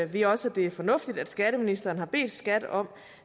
vi også at det er fornuftigt at skatteministeren har bedt skat om